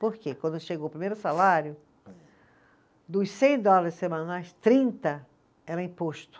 Porque quando chegou o primeiro salário, dos cem dólares semanais, trinta era imposto.